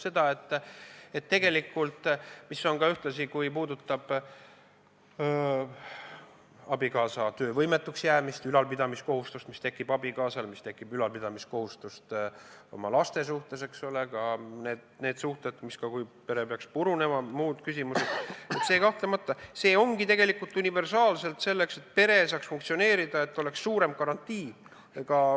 See, mis puudutab abikaasa töövõimetuks jäämist, ülalpidamiskohustust, mis tekib abikaasal, ülalpidamiskohustust laste suhtes, ka neid suhteid, kui pere peaks purunema, muid küsimusi – see kahtlemata ongi tegelikult universaalselt mõeldud selleks, et pere saaks funktsioneerida ja oleks suurem garantii.